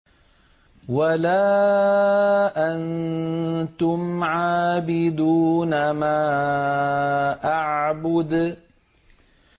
وَلَا أَنتُمْ عَابِدُونَ مَا أَعْبُدُ